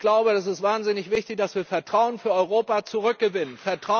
Ich glaube, es ist wahnsinnig wichtig, dass wir Vertrauen für Europa zurückgewinnen.